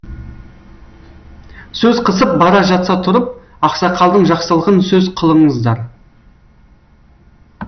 сөз қысып бара жатса тұрып ақсақалдың жақсылығын сөз қылыңыздар